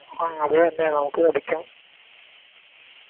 ആ അത് തന്നെ നമുക്ക് പഠിക്കാം